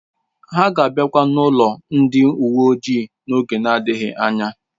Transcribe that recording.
Ha ga akwaba n'ụlọ ndị uwe ojii n'oge na-adịghị anya